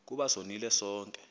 ukuba sonile sonke